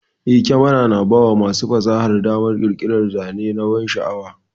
Eh, kyamara tana bawa masu fasaha damar ƙirƙirar zane na bansha'awa.